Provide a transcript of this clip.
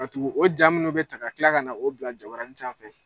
tugu o jaa minnu bɛ ta ka kila ka na o bila jabaranin sanfɛ.